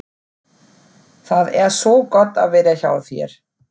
Það er svo gott að vera hjá þér.